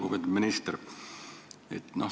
Lugupeetud minister!